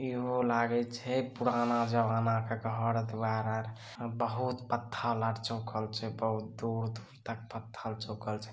इहो लागई छे पुराना जमाना के घर द्वार बहुत पत्थर चौकल छे बहुत दूर दूर तक पत्थर चौकल छ।